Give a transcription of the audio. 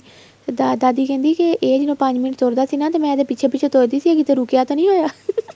ਦਾਦੀ ਕਹਿੰਦੀ ਇਹ ਜਦੋਂ ਪੰਜ ਮਿੰਟ ਤੁਰਦਾ ਸੀ ਤੇ ਮੈਂ ਇਹਦੇ ਪਿੱਛੇ ਪਿੱਛੇ ਤੁਰਦੀ ਸੀ ਇਹ ਕਿੱਥੇ ਰੁਕਿਆ ਤਾਂ ਨਹੀਂ ਹੋਇਆ